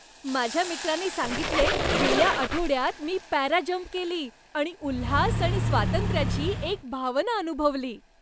माझ्या मित्राने सांगितले, गेल्या आठवड्यात मी पॅराजंप केली आणि उल्हास आणि स्वातंत्र्याची एक भावना अनुभवली.